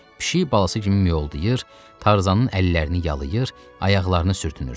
Pişik balası kimi miyoldayır, Tarzanın əllərini yalır, ayaqlarını sürtünürdü.